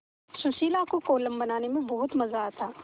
सुशीला को कोलम बनाने में बहुत मज़ा आता